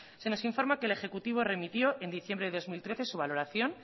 se nos informa que el ejecutivo remitió en diciembre de dos mil trece su valoración